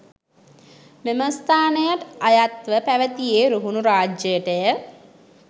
මෙම ස්ථානය අයත්ව පැවැතියේ රුහුණු රාජ්‍යයට ය.